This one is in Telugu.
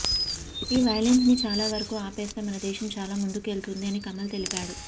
ఈ వైలెన్స్ ని చాలా వరకు ఆపేస్తే మన దేశం చాలా ముందుకేల్తుంది అని కమల్ తెలిపాడు